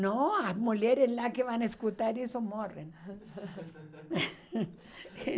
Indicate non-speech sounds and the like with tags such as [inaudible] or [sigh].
Não, as mulheres lá que vão escutar isso morrem. [laughs]